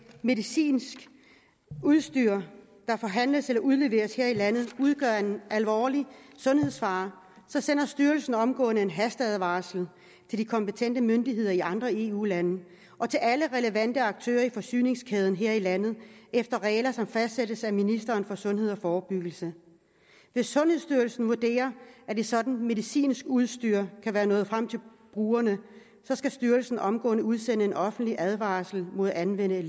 medicinsk udstyr der forhandles eller udleveres her i landet udgør en alvorlig sundhedsfare sender styrelsen omgående en hasteadvarsel til de kompetente myndigheder i de andre eu lande og til alle relevante aktører i forsyningskæden her i landet efter regler som fastsættes af ministeren for sundhed og forebyggelse hvis sundhedsstyrelsen vurderer at et sådant medicinsk udstyr kan være nået frem til brugerne skal styrelsen omgående udsende en offentlig advarsel mod at anvende